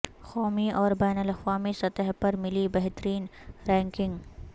قومی اور بین الاقوامی سطح پر ملی بہترین رینکنگ